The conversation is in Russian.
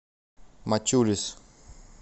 мачулис